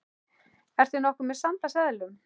Ertu nokkuð með sand af seðlum.